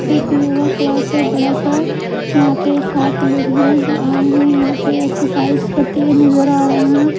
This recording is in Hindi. एक युवा क्लास है बड़ा सा यहां पे सात लोग हैं जो यहां पे एक्सरसाइज करते हुए नजर आ रहे हैं।